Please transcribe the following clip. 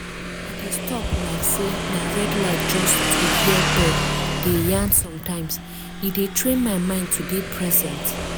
i dey stop like say na red light just to hear bird dey yarn sometimes e dey train my mind to dey present.